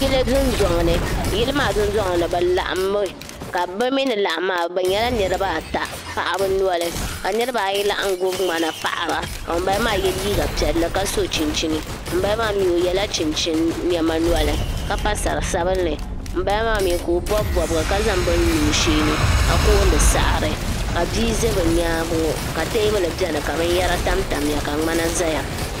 Yili dundɔŋ ni yili maa dundɔŋ mi bi laɣimi be mi ni laɣim maa be nyɛla niriba ata paɣaba noli ka noribi ayi laɣim gub mŋana paɣara ka nyunbal maa yɛ liga piɛli ka so chinchini nyunbala maa mi o yɛla chinchini niɛma noli ka pa sari sabinli nyunbala m ka o bobi bobiga ka zaŋ beni lo o shɛɛni ka kooni saɣari ka bia za bi nyaanga ŋɔ ka tɛɛbli beni ka benyara tam tam ya ka mŋana zaya.